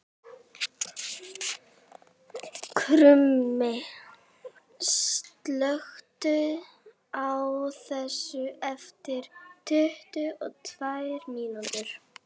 Krummi, slökktu á þessu eftir tuttugu og tvær mínútur.